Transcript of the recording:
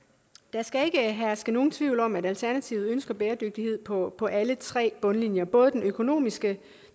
skal ikke herske nogen tvivl om at alternativet ønsker bæredygtighed på alle tre bundlinjer både den økonomiske